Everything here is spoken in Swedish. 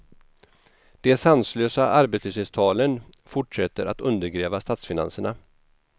De sanslösa arbetslöshetstalen fortsätter att undergräva statsfinanserna.